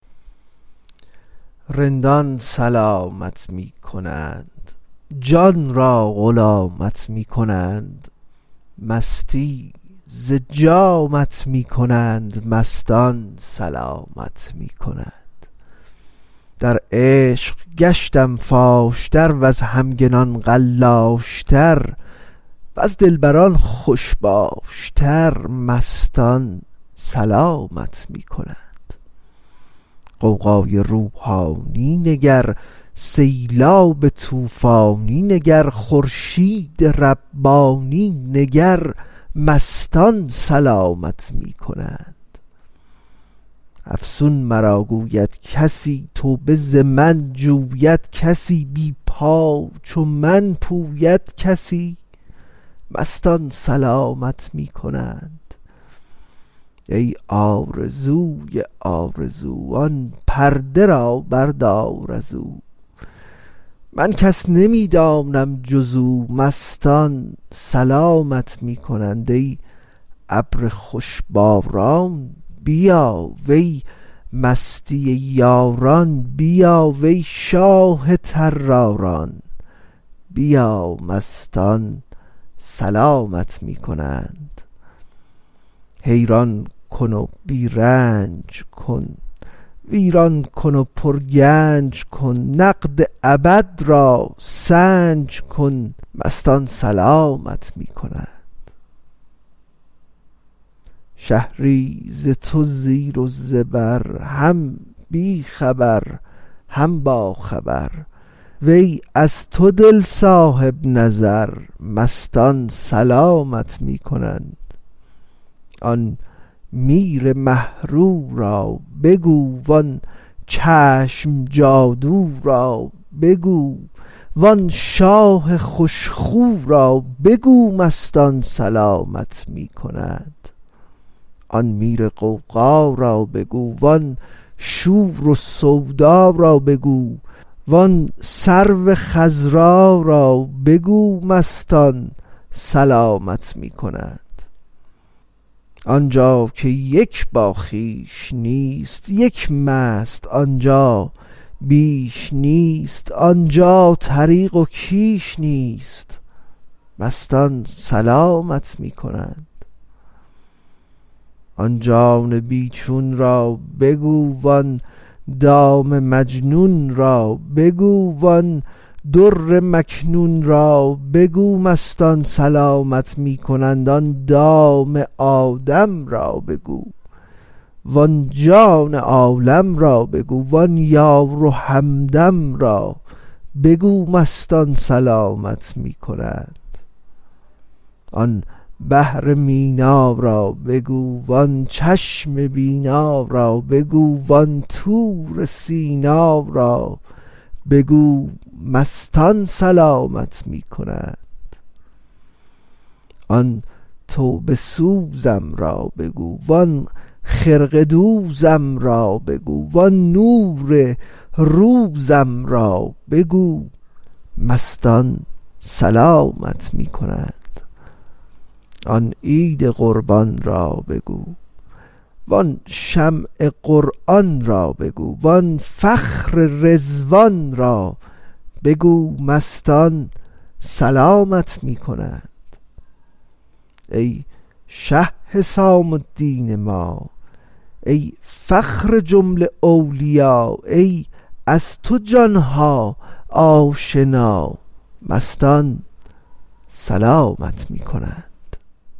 رندان سلامت می کنند جان را غلامت می کنند مستی ز جامت می کنند مستان سلامت می کنند در عشق گشتم فاش تر وز همگنان قلاش تر وز دلبران خوش باش تر مستان سلامت می کنند غوغای روحانی نگر سیلاب طوفانی نگر خورشید ربانی نگر مستان سلامت می کنند افسون مرا گوید کسی توبه ز من جوید کسی بی پا چو من پوید کسی مستان سلامت می کنند ای آرزوی آرزو آن پرده را بردار زو من کس نمی دانم جز او مستان سلامت می کنند ای ابر خوش باران بیا وی مستی یاران بیا وی شاه طراران بیا مستان سلامت می کنند حیران کن و بی رنج کن ویران کن و پرگنج کن نقد ابد را سنج کن مستان سلامت می کنند شهری ز تو زیر و زبر هم بی خبر هم باخبر وی از تو دل صاحب نظر مستان سلامت می کنند آن میر مه رو را بگو وان چشم جادو را بگو وان شاه خوش خو را بگو مستان سلامت می کنند آن میر غوغا را بگو وان شور و سودا را بگو وان سرو خضرا را بگو مستان سلامت می کنند آن جا که یک باخویش نیست یک مست آن جا بیش نیست آن جا طریق و کیش نیست مستان سلامت می کنند آن جان بی چون را بگو وان دام مجنون را بگو وان در مکنون را بگو مستان سلامت می کنند آن دام آدم را بگو وان جان عالم را بگو وان یار و همدم را بگو مستان سلامت می کنند آن بحر مینا را بگو وان چشم بینا را بگو وان طور سینا را بگو مستان سلامت می کنند آن توبه سوزم را بگو وان خرقه دوزم را بگو وان نور روزم را بگو مستان سلامت می کنند آن عید قربان را بگو وان شمع قرآن را بگو وان فخر رضوان را بگو مستان سلامت می کنند ای شه حسام الدین ما ای فخر جمله اولیا ای از تو جان ها آشنا مستان سلامت می کنند